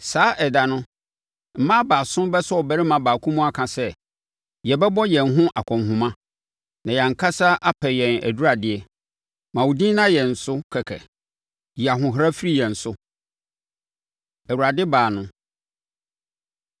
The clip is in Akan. Saa ɛda no, mmaa baason bɛsɔ ɔbarima baako mu aka sɛ, “Yɛbɛbɔ yɛn ho akɔnhoma na yɛn ankasa apɛ yɛn aduradeɛ; ma wo din nna yɛn so kɛkɛ. Yi ahohora firi yɛn so!” Awurade Baa No